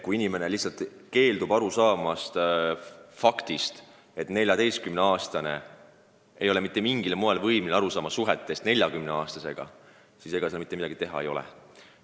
Kui inimene lihtsalt keeldub aru saamast faktist, et 14-aastane ei ole mitte mingil moel võimeline aru saama suhetest 40-aastasega, siis ega mitte midagi teha ei ole.